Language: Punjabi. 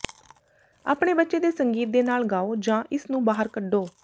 ਆਪਣੇ ਬੱਚੇ ਦੇ ਸੰਗੀਤ ਦੇ ਨਾਲ ਗਾਓ ਜਾਂ ਇਸ ਨੂੰ ਬਾਹਰ ਕੱਢੋ